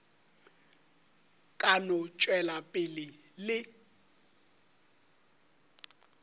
ka no tšwela pele le